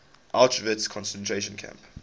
auschwitz concentration camp